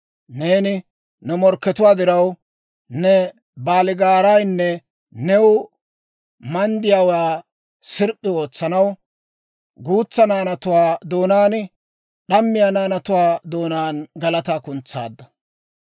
Neeni ne morkkatuwaa diraw, Ne baaligaaraanne new manddiyaawaa sirp'p'i ootsanaw, guutsa naanatuwaa doonaan d'ammiyaa naanatuwaa doonaan galataa kuntsaadda.